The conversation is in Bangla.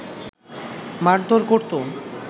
মারধর করতো